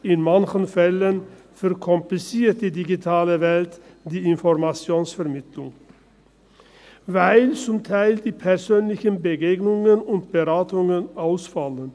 in manchen Fällen verkompliziert die digitale Welt die Informationsvermittlung, weil zum Teil die persönlichen Begegnungen und Beratungen ausfallen.